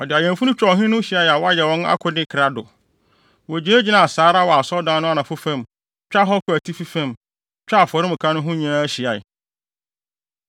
Ɔde awɛmfo no twaa ɔhene no ho hyiae a wɔayɛ wɔn akode krado. Wogyinagyinaa saa wɔ Asɔredan no anafo fam, twaa hɔ kɔɔ atifi fam, twaa afɔremuka no ho nyinaa hyiae.